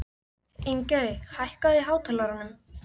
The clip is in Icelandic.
Ingey, hækkaðu í hátalaranum.